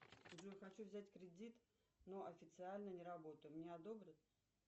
джой хочу взять кредит но официально не работаю мне одобрят